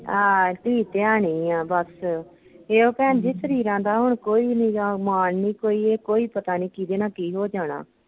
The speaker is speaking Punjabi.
ਆਹ ਧੀ ਧਿਆਣੀ ਆ ਬੱਸ ਤੇ ਉਹ ਭੈਣ ਜੀ ਸਰੀਰਾਂ ਦਾ ਹੁਣ ਕੋਈ ਨੀ ਗਾ ਮਾਣ ਨੀ ਕੋਈ ਵੀ ਕੋਈ ਪਤਾ ਨੀ ਕਿਹਦੇ ਨਾਲ ਕੀ ਹੋ ਜਾਣਾ।